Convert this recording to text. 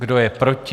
Kdo je proti?